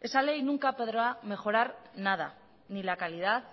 esa ley nunca podrá mejorar nada ni la calidad